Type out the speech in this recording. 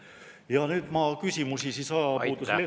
Ja nüüd ma küsimusi ajapuudusel ette ei loe …